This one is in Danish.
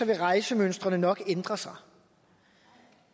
vil rejsemønstrene nok ændre sig